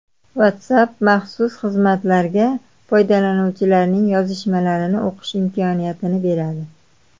WhatsApp maxsus xizmatlarga foydalanuvchilarning yozishmalarini o‘qish imkoniyatini beradi.